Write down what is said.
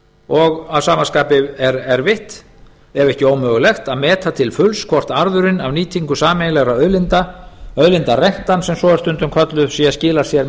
og að sama skapi er erfitt ef ekki ómögulegt að meta til fulls hvort arðurinn af nýtingu sameiginlegra auðlinda auðlindarentan sem svo er stundum kölluð sé að skila sér með